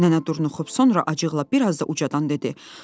Nənə duruxub sonra acıqla bir az da ucadan dedi: